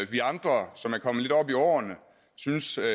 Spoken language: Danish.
vi andre som er kommet lidt op i årene synes er